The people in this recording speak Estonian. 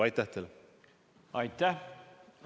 Aitäh!